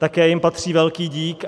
Také jim patří velký dík.